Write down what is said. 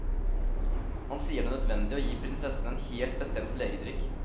Han sier det er nødvendig å gi prinsessen en helt bestemt legedrikk.